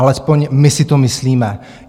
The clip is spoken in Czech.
Alespoň my si to myslíme.